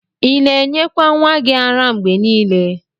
Ina enyekwa nwa gi ara mgbe nile?